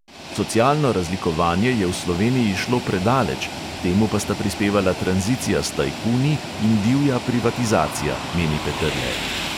Socialno razlikovanje je v sloveniji šlo predaleč, k temu pa sta prispevala tranzicija s tajkuni in divja privatizacija, meni peterle.